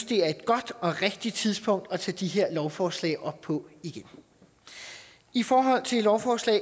det er et godt og rigtigt tidspunkt at tage de her lovforslag op på igen i forhold til lovforslag